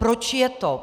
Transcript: Proč je to?